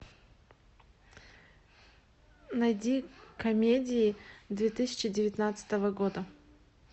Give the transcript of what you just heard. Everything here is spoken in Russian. найди комедии две тысячи девятнадцатого года